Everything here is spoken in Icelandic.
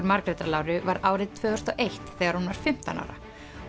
Margrétar Láru var árið tvö þúsund og eitt þegar hún var fimmtán ára